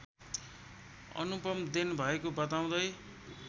अनुपम देन भएको बताउँदै